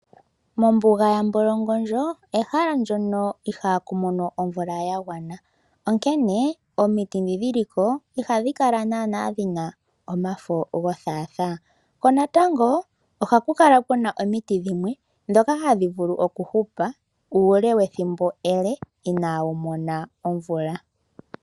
Mombuga yaMbolongondjo ehala ndyono ihaku mono omvula ya gwana. Onkene omiti ndhi dhiliko ihadhi kala dhina omafo gothathaa. Ohaku kala kuna omiti dhimwe ndhono hadhi vulu okuhupa uule wethimbo inadhi mona omvula.